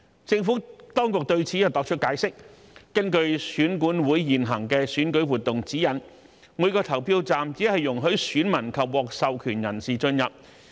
政府當局對此作出解釋，根據選舉管理委員會現行的選舉活動指引，每個投票站只容許選民及獲授權人士進入。